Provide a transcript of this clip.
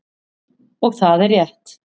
Og það er rétt.